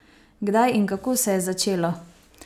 Kdaj in kako se je začelo?